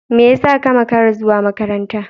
Me yasa ka makara zuwa makaranta?